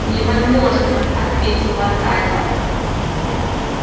невозможно ответил аркадий